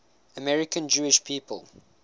american jewish people